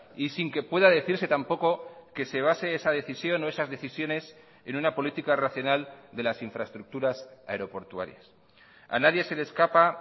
y sin que pueda decirse tampoco que se base esa decisión o esas decisiones en una política racional de las infraestructuras aeroportuarias a nadie se le escapa